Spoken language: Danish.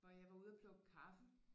Hvor jeg var ude at plukke kaffe